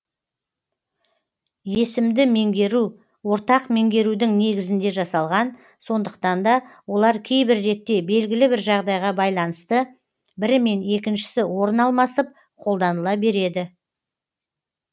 есімді меңгеру ортақ меңгерудің негізінде жасалған сондықтан да олар кейбір ретте белгілі бір жағдайға байланысты бірімен екіншісі орын алмасып қолданыла береді